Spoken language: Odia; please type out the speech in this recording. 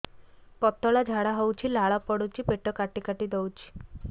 ପତଳା ଝାଡା ହଉଛି ଲାଳ ପଡୁଛି ପେଟ କାଟି କାଟି ଦଉଚି